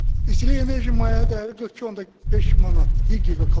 İstilik enerjisinin maya dəyəri 42.5 manatdır, bir giqakalori.